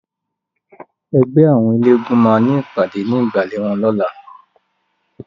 Ègbè áwòn éléègúùn má ni ipàdé ninú igbále wòn lòlá